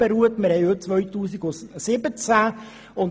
Heute haben wir das Jahr 2017.